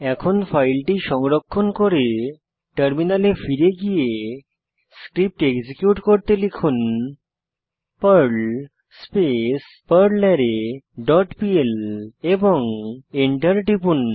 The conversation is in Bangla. এখন ফাইলটি সংরক্ষণ করে টার্মিনালে ফিরে গিয়ে স্ক্রিপ্ট এক্সিকিউট করতে লিখুন পার্ল স্পেস পারলারে ডট পিএল এবং এন্টার টিপুন